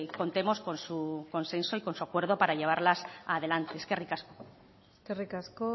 contemos con su consenso y con su acuerdo para llevarlas adelante eskerrik asko eskerrik asko